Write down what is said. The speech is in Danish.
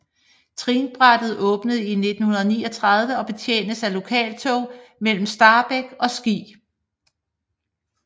Trinbrættet åbnede i 1939 og betjenes af lokaltog mellem Stabekk og Ski